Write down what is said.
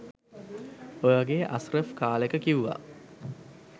ඔය වගේ අස්රෆ් කාලෙක කිව්වා